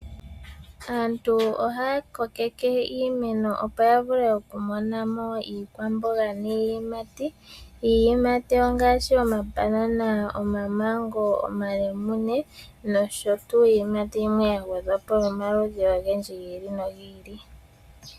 Aantu oha kokeke iimeno opo yavule okumona mo iikwamboga niiyimati. Iiyimati ongashi omambanana ,omamango ,omalemune nosho tuu iiyimati yimwe ya gwedhwapo yomaludhi ogendji gili no gili.